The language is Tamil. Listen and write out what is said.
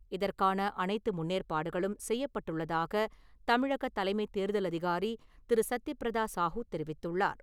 இதற்கான அனைத்து முன்னேற்பாடுகளும் செய்யப்பட்டுள்ளதாக தமிழக தலைமைத் தேர்தல் அதிகாரி திரு.சத்யபிரதா சாஹூ தெரிவித்துள்ளார்.